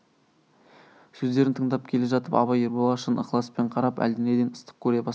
сөздерін тыңдап келе жатып абай ерболға шын ықыласпен қарап әлденеден ыстық көре бастады